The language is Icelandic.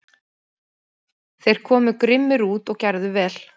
Þeir komu grimmir út og gerðu vel.